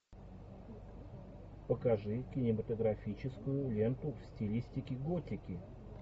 покажи кинематографическую ленту в стилистике готики